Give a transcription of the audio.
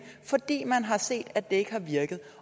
fordi man har set at det ikke har virket